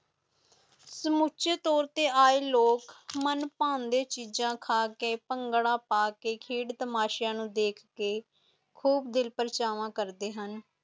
ਸਮੁਚਿਤ ਤੋਰ ਦੇ ਆਏ ਲੋਗ ਮਨ ਪੈਂਦੇ ਚੀਜ਼ਾਂ ਖਾਕੇ ਪੰਗਦਾ ਪਾਕੇ ਖੇਡ ਤਮਾਸ਼ਿਆਂ ਨੂੰ ਦੇਖ ਕੇ ਖੂਬ ਦਿਲਪ੍ਰਚਾਵ ਕਰਦਿਆਂ ਹੁਣ